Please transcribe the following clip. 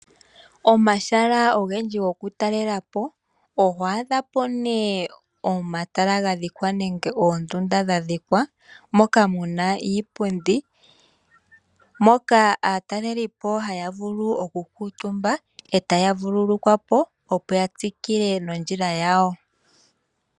Omahala ogendji gokutalelapo oho adha po nee omatala ga dhikwa nenge oondunda dha dhikwa moka muna iipundi. Moka aatalelipo haya vulu okukuutumba eta ya vululukwapo opo ya tsikile nondjila yawo.